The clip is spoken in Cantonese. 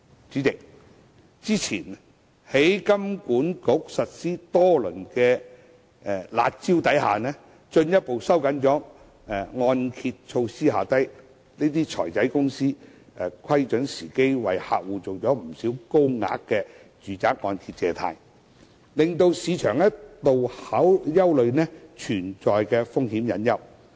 代理主席，香港金融管理局早前實施多輪"辣招"，進一步收緊按揭措施後，這些"財仔"公司窺準時機為客戶做了不少高額住宅按揭借貸，令市場一度憂慮存在風險隱憂。